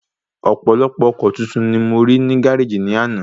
Ọ̀pọ̀lọpọ̀ ọkọ̀ titun ni mo rí ní gáréjì ní àná